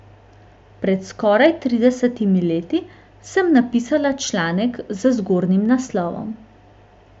Pred skoraj tridesetimi leti sem napisala članek z zgornjim naslovom.